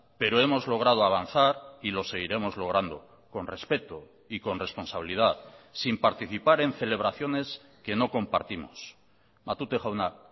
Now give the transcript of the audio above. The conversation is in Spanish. pero hemos logrado avanzar y lo seguiremos logrando con respeto y con responsabilidad sin participar en celebraciones que no compartimos matute jauna